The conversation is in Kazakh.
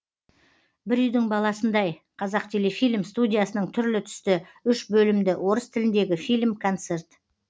бір үйдің баласындай қазақтелефильм студиясының түрлі түсті үш бөлімді орыс тіліндегі фильм концерт